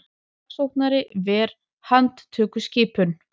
Saksóknari ver handtökuskipun